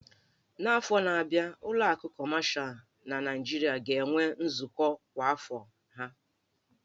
N'afọ na-abịa, ụlọ akụ kọmashal na Nigeria ga-enwe nzukọ kwa afọ ha